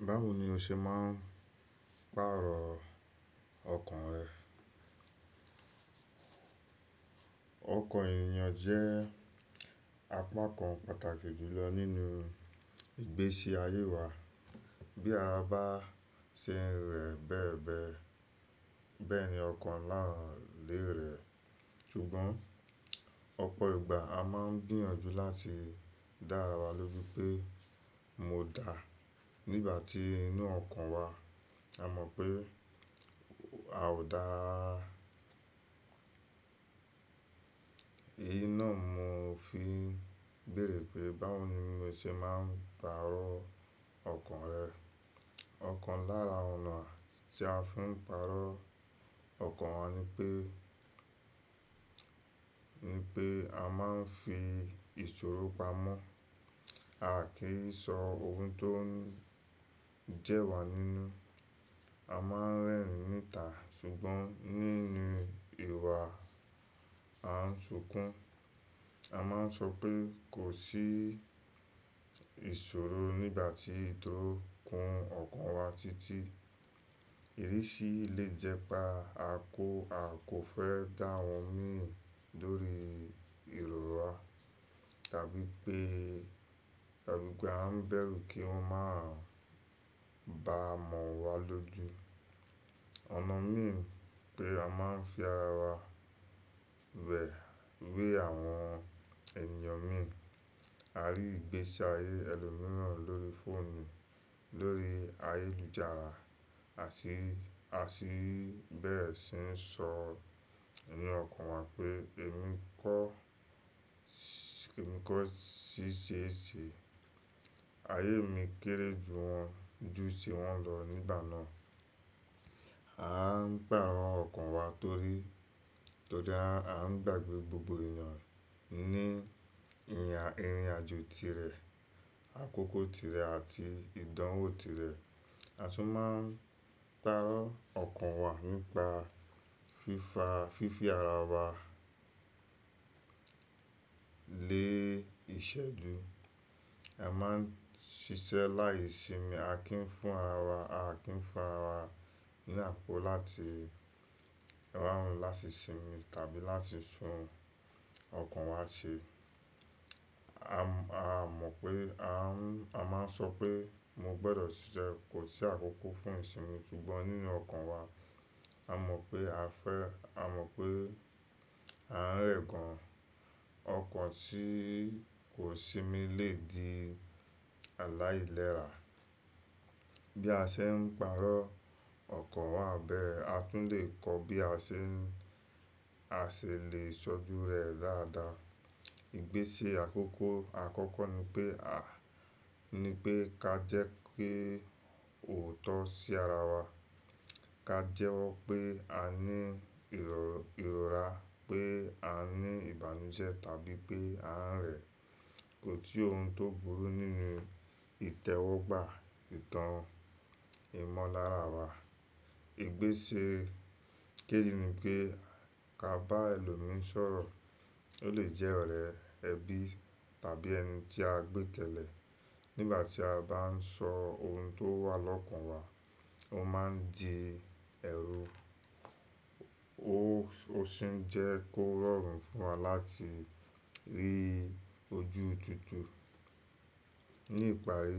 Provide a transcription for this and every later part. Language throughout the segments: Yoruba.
Báwo ni o ṣe máa ń pàrọ̀ ọkàn rẹ? Ọkàn èyàn jẹ́ apá kan pàtàkì jùlọ nínú ìgbésí ayé wa. Bí a bá ṣe rẹ̀ bẹ́ẹ̀ bẹ́ẹ̀, bẹ́ẹ̀ ni ọkàn náà lè rẹ̀. Ṣùgbọ́n ọ̀pọ̀ ìgbà a máa ń gbìyànjú láti dá ara wa lójú pé mo dà nígbà tí inú ọkàn wa a mọ̀ pé a ò dà. Èyí náà mo fi béèrè pé báwo ni mo ṣe máa ń pàrọ̀ ọkàn rẹ. Ọ̀kan lára ọ̀nà tí a fi ń pàrọ̀ ọkàn wa ni pé, ni pé a máa ń fi ìṣòro pamọ́. A à kí sọ ohun tó ń jẹ́ wa nínú, a máa ń rẹ́rìn ni ta. Ṣùgbọ́n nínú ìwà a ń ṣunkun, a máa ń sọ pé kò sí ìṣòro nígbà tí ó ń kun ọkàn wa títí. Ìrísí lè jẹ́ pa, a kò, a kò fẹ́ dá wọn mi lórí ìrora tàbí pé tàbí pé a ń bẹ̀rù kí wọ́n máa ba mọ̀ wa lójú. Ọ̀nà mìí pé a máa ń fi ara wa wé àwọn ènìyàn mìí. A rí ìgbésí ayé ẹlòmíràn lórí fóònù, lórí ayélujára àti, àti bẹ́ẹ̀ sì ń sọ ẹ̀mí ọkàn wa pé èmi kọ́, èmi kọ́ ṣíṣe èṣì, ayé mi kéré ju wọn, ju tí wọ́n lọ nígbà náà. A ń pàrọ̀ ọkàn wa torí, torí a ń gbàgbé gbogbo ènìyàn ní ìrìnàjò tirẹ̀, àkókò tirẹ̀ àti ìdánwò tirẹ̀. A tún máa ń pàrọ̀ ọkàn wa nípa fífa, fífi ara wa lé ìṣẹ́ju. A máa ń ṣiṣẹ́ láìsimi, a kì í fún ara, a kì í fún ara wa láti rán láti sinmi tàbí láti sun ọkàn wa ṣe. A mọ̀ pé a ń, a máa ń sọ pé mo gbọdọ̀ ṣiṣẹ́, kò sí àkókò fún ìsinmi. Ṣùgbọ́n nínú ọkàn wa a mọ̀ pé a fẹ́, a mọ̀ pé a ń rẹ̀ gan. Ọkàn tí kò sinmi lè di aláìlera. Bí a ṣe ń pàrọ̀ ọkàn wa bẹ́ẹ̀, a tún lè kọ bí a ṣe ń, a ṣe lè sọ́dú rẹ̀ dáadáa. Ìgbésẹ̀ àkọ́kọ́, àkọ́kọ́ ni pé a, ni pé ká jẹ́ pé òótọ́ sí ara wa. Ka jẹ́wọ́ pé a ní ìrọ̀, ìrora pé a ní ìbànújẹ́ tàbí pé a ń rẹ̀. Kò sí ohun tó burú nínú ìtẹ́wọ́gbà ìtàn ìmọ̀lára wa. Ìgbésẹ̀ kejì ni pé ká bá ẹlòmí sọ̀rọ̀. Ó lè jẹ́ ọ̀rẹ́, ẹbí tàbí ẹni tí a gbé kẹlẹ. Nígbà tí a bá ń sọ ohun tó wà lọ́kàn wa, ó máa ń di ẹrú. Ó, ó sì ń jẹ́ kórórun fún wa láti rí ojú tutù. Ní ìparí,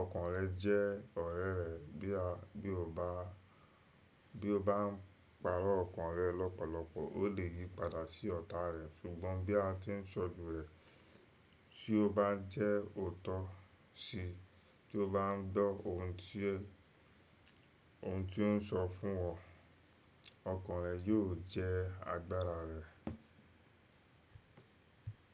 ọkàn rẹ jẹ́ ọ̀rẹ́ rẹ. Bí a, bí o bá, bí o bá ń pàrọ̀ ọkàn rẹ lọ́pọ̀lọpọ̀, ó lè yí padà sí ọ̀tá rẹ̀. Ṣùgbọ́n bí a tí ń sọ́dú rẹ̀, tí ó bá ń jẹ́ òótọ́ sí i, tí ó bá ń gbọ́ ohun tí ó, ohun tí ó ń sọ fún ọ, ọkàn rẹ yóò jẹ́ agbára rẹ.